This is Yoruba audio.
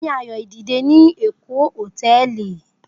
Mo ni ayo dide ni Eko hotẹẹli